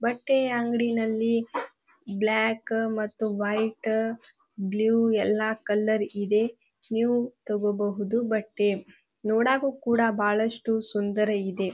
ಬಟ್ಟೆ ಅಂಗ್ಡಿನಲ್ಲಿ ಬ್ಲಾಕ್ ಮತ್ತು ವೈಟ್ ಬ್ಲೂ ಎಲ್ಲ ಕಲರ್ ಇದೆ ನೀವು ತಗೋಬಹುದು ಬಟ್ಟೆ ನೋಡಾಕು ಬಹಳಷ್ಟು ಸುಂದರ ಇದೆ